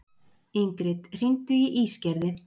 Ingrid, hringdu í Ísgerði.